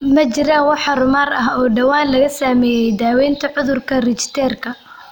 Ma jiraan wax horumar ah oo dhowaan laga sameeyay daawaynta cudurka Richterka?